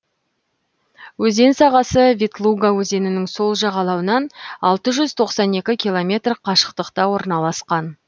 өзен сағасы ветлуга өзенінің сол жағалауынан алты жүз тоқсан екі километр қашықтықта орналасқан